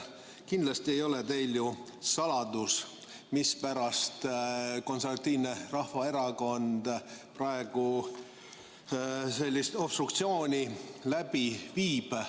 Kindlasti ei ole teile ju saladus, mispärast Konservatiivne Rahvaerakond praegu sellist obstruktsiooni läbi viib.